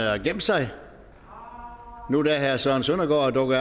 har gemt sig nu da herre søren søndergaard er dukket